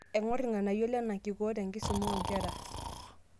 Aing'or irng'anayio lena kikoo tenkisuma oonkera.